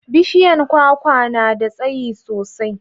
bishiyan kwakwa na da tsayi sosai